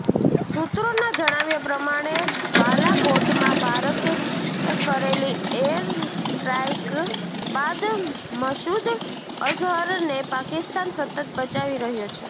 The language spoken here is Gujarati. સૂત્રોના જણાવ્યા પ્રમાણે બાલાકોટમાં ભારતે કરેલી એરસ્ટ્રાઈક બાદ મસૂદ અઝહરને પાકિસ્તાન સતત બચાવી રહ્યો છે